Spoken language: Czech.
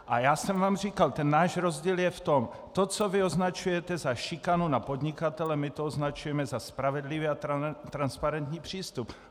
A já jsem vám říkal: Ten náš rozdíl je v tom - to, co vy označujete za šikanu na podnikatele, my to označujeme za spravedlivý a transparentní přístup.